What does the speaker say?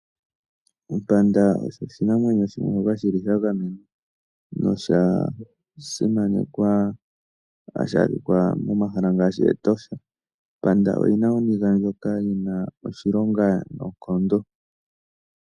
Ompanda osho oshinamwenyo shimwe shoka shi li sha gamenwa no sha simanekwa. Ohashi adhika momahala ngaashi mEtosha. Ompanda oyi na oniga ndjoka ya simanekwa noonkondo.